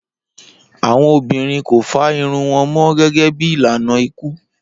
Awọn obinrin ko fá irun wọn mọ gẹgẹ bi ilana iku